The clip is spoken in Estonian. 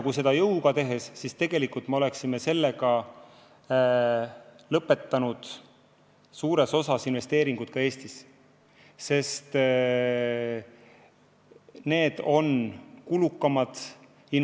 Kui seda jõuga teha, siis me tegelikult suures osas lõpetaksime sellega investeeringud Eestisse, sest need on kulukamad.